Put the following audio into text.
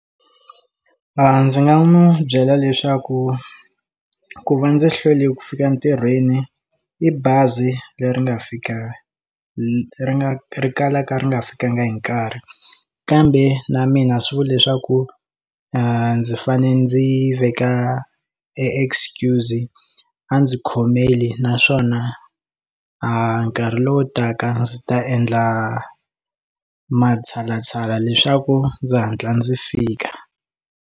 A ndzi nga n'wi byela leswaku ku va ndzi hlwele ku fika entirhweni i bazi leri nga fika ri nga ri kalaka ri nga fikangi hi nkarhi kambe na mina swi vula leswaku ndzi fanele ndzi veka excuse a ndzi khomela naswona a nkarhi lowu taka ndzi ta endla matshalatshala leswaku ndzi hatla ndzi fika.